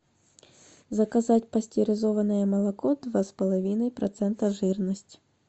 заказать пастеризованное молоко два с половиной процента жирность